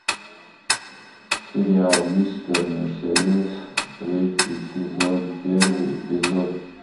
сериал мистер мерседес третий сезон первый эпизод